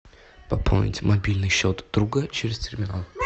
пополнить мобильный счет друга через терминал